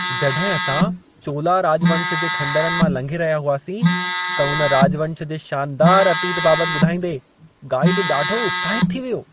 जॾहिं असां चोला राॼवंश जे ख़ंडहरनि मां लंघे रहिया हुआसीं, त इन राॼवंश जे शानदार अतीत बाबति ॿुधाईंदे गाईड ॾाढो उत्साहितु थी वियो।